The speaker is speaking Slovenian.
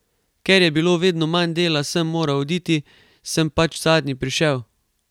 Ker je bilo vedno manj dela, sem moral oditi, sem pač zadnji prišel ...